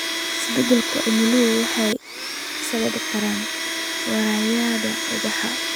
Isbeddelka cimiladu waxay sababi kartaa wareegyada ubaxa.